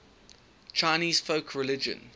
chinese folk religion